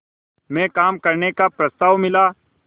में काम करने का प्रस्ताव मिला